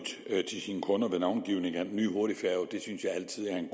til sine kunder ved navngivningen af den nye hurtigfærge det synes jeg altid er en